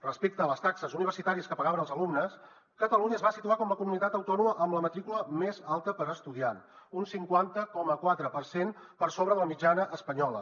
respecte a les taxes universitàries que pagaven els alumnes catalunya es va situar com la comunitat autònoma amb la matrícula més alta per estudiant un cinquanta coma quatre per cent per sobre de la mitjana espanyola